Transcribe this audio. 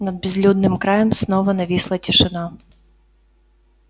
над безлюдным краем снова нависла тишина